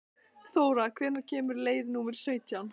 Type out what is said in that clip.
Þóra, hvenær kemur leið númer sautján?